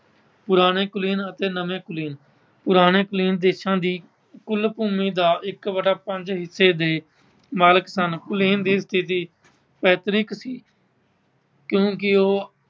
ਪੁਰਾਣੇ ਕੁਲੀਨ ਅਤੇ ਨਵੇਂ ਕੁਲੀਨ। ਪੁਰਾਣੇ ਕੁਲੀਨ ਦੇਸ਼ਾਂ ਦੀ ਕੁੱਲ ਭੂਮੀ ਦਾ ਇੱਕ ਵਟਾ ਪੰਜ ਹਿੱਸੇ ਦੇ ਮਾਲਕ ਸਨ। ਕੁਲੀਨ ਦੀ ਸਥਿਤੀ ਪੈਤਰਿਕ ਸੀ। ਕਿਉਂਕਿ ਉਹ